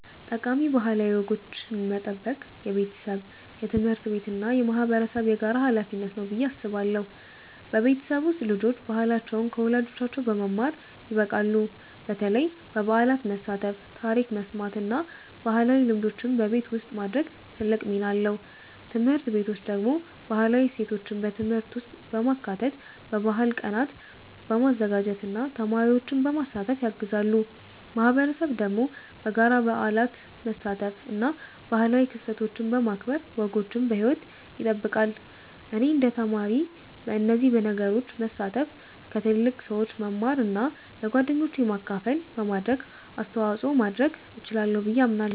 ጠቃሚ ባህላዊ ወጎችን መጠበቅ የቤተሰብ፣ የትምህርት ቤት እና የማህበረሰብ የጋራ ሀላፊነት ነው ብዬ አስባለሁ። በቤተሰብ ውስጥ ልጆች ባህላቸውን ከወላጆቻቸው በመማር ይበቃሉ፣ በተለይ በበዓላት መሳተፍ፣ ታሪክ መስማት እና ባህላዊ ልምዶችን በቤት ውስጥ ማድረግ ትልቅ ሚና አለው። ትምህርት ቤቶች ደግሞ ባህላዊ እሴቶችን በትምህርት ውስጥ በማካተት፣ በባህል ቀናት በማዘጋጀት እና ተማሪዎችን በማሳተፍ ያግዛሉ። ማህበረሰብ ደግሞ በጋራ በበዓላት መሳተፍ እና ባህላዊ ክስተቶችን በማክበር ወጎችን በሕይወት ይጠብቃል። እኔ እንደ ተማሪ በእነዚህ ነገሮች መሳተፍ፣ ከትልቅ ሰዎች መማር እና ለጓደኞቼ ማካፈል በማድረግ አስተዋጽኦ ማድረግ እችላለሁ ብዬ አምናለሁ።